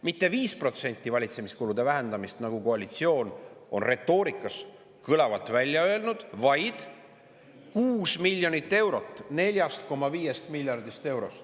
Mitte 5% ei vähendata valitsemiskulusid, nagu koalitsioon on retoorikas kõlavalt välja öelnud, vaid 6 miljonit eurot 4,5 miljardist eurost.